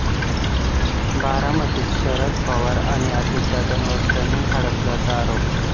बारामतीत शरद पवार आणि अजितदादांवर जमीन हडपल्याचा आरोप